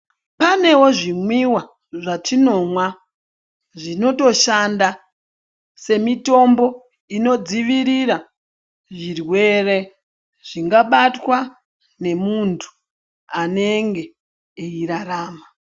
Panewo zvi mwiwa zvatinomwa zvinoto shanda se mitombo ino dzivirira zvirwere zvinga batwa ne muntu anenge eyi rarama.